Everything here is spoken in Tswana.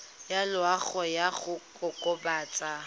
ya loago ya go kokobatsa